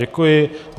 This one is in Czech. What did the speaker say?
Děkuji.